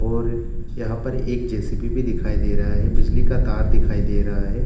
और यहाँ पर एक जे.सी.बी. भी दिखाई दे रहा है बिजली का तार दिखाई दे रहा है।